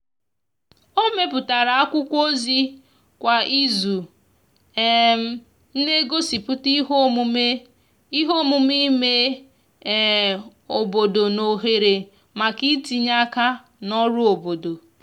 o meputara akwụkwo ozi kwa izu um n'egosiputa ihe omume ihe omume ime um obodo na ohere maka itinye aka n'ọrụ obodo